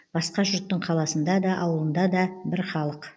басқа жұрттың қаласында да ауылында да бір халық